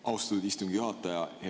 Austatud istungi juhataja!